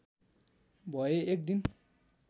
भए एक दिन